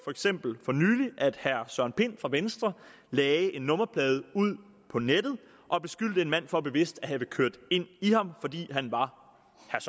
eksempel for nylig at herre søren pind fra venstre lagde en nummerplade ud på nettet og beskyldte en mand for bevidst at have kørt ind i ham fordi han var